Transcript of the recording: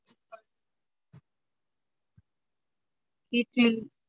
idli